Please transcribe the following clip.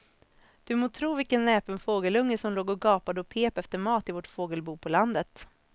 Du må tro vilken näpen fågelunge som låg och gapade och pep efter mat i vårt fågelbo på landet.